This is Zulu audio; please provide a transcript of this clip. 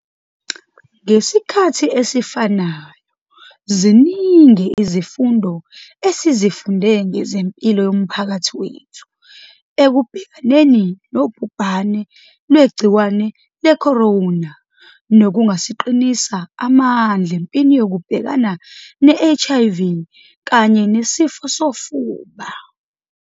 Ngesikhathi esifanayo, ziningi izifundo esizifunde ngezempilo yomphakathi wethu ekubhekaneni nobhubhane lwegciwane lecorona nokungasiqinisa amandla empini yokubhekana ne-HIV kanye neSifo sofuba.